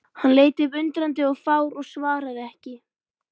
Hann leit upp undrandi og fár og svaraði ekki.